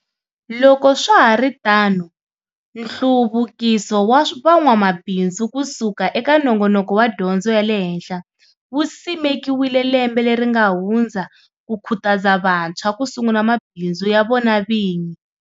Loko swa ha ri tano Nhluvukiso wa Van'wamabindzu ku suka eka nongonoko wa Dyondzo ya le Henhla wu simekiwile lembe leri nga hundza ku khutaza vantshwa ku sungula mabindzu ya vona vinyi.